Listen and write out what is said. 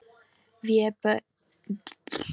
Vébjörn, hvernig er veðrið á morgun?